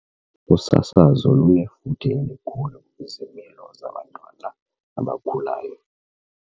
Usasazo lunefuthe elikhulu kwizimilo zabantwana abakhulayo.